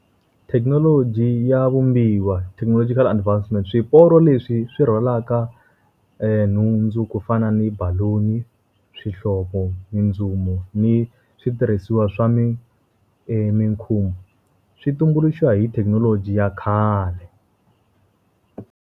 Thekinoloji ya vumbiwa technological advancement. Swiporo leswi swi rhwala nhundzu ku fana ni baloni, swihlovo, mindzumu, ni switirhisiwa swa swi tumbuluxiwa hi thekinoloji ya khale.